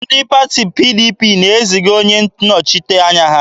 Ndị pati PDP na-eziga onye nnọchiteanya.